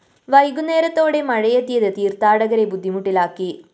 വൈകുന്നേരത്തോടെ മഴയെത്തിയത് തീര്‍ത്ഥാടകരെ ബുദ്ധിമുട്ടിലാക്കി